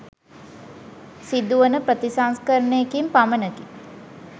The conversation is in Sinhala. සිදුවන ප්‍රතිසංස්කරණයකින් පමණකි.